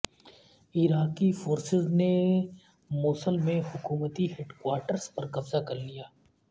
عراقی فورسز نے موصل میں حکومتی ہیڈکوارٹرز پر قبضہ کر لیا